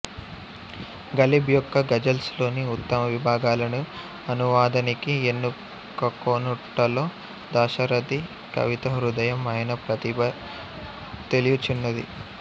గలిబ్ యొక్క గజల్స్ లోని ఉత్తమ విభాగాలను అనువాదానికి ఎన్నుకకొనుటలో దాశరథి కవితాహృదయం ఆయన ప్రతిభ తెలుయుచున్నది